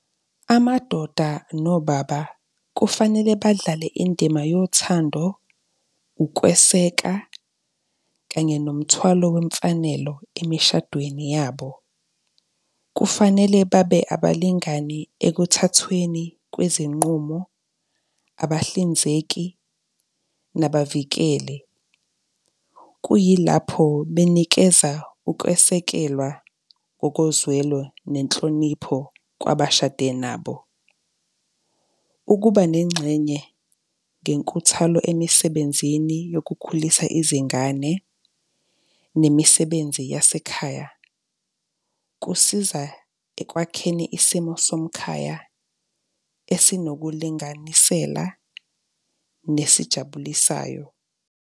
Amadoda nobaba kufanele badlale indima yothando, ukweseka, kanye nomthwalo wemfanelo emishadweni yabo. Kufanele babe abalingani ekuthathweni kwezinqumo, abahlinzeki, nabavikeli, kuyilapho benikeza ukwesekelwa ngokozwelo nenhlonipho kwabashade nabo. Ukuba nengxenye ngenkuthalo emisebenzini yokukhulisa izingane nemisebenzi yasekhaya, kusiza ekwakheni isimo somkhaya, esinokulinganisela nesijabulisayo.